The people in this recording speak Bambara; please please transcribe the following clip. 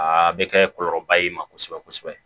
Aa bɛ kɛ kɔlɔlɔ ba ye i ma kosɛbɛ kosɛbɛ